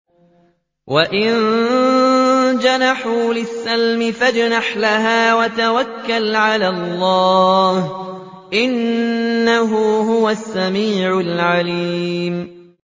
۞ وَإِن جَنَحُوا لِلسَّلْمِ فَاجْنَحْ لَهَا وَتَوَكَّلْ عَلَى اللَّهِ ۚ إِنَّهُ هُوَ السَّمِيعُ الْعَلِيمُ